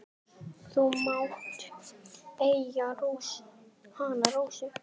Þú mátt eiga hana, Rósa.